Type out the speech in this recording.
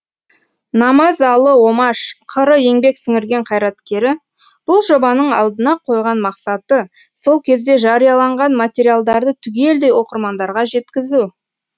намазалы омаш қр еңбек сіңірген қайраткері бұл жобаның алдына қойған мақсаты сол кезде жарияланған материалдарды түгелдей оқырмандарға жеткізу